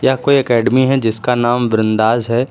यह कोई एकेडमी है जिसका नाम बृंदास है।